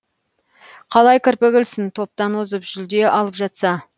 қалай кірпік ілсін топтан озып жүлде алып жатса